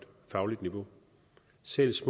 synes